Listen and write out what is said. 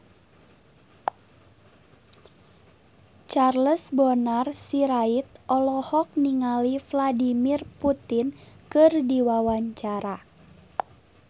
Charles Bonar Sirait olohok ningali Vladimir Putin keur diwawancara